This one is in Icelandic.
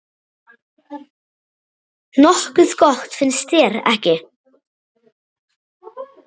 Nokkuð gott, finnst þér ekki?